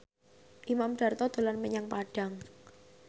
Imam Darto dolan menyang Padang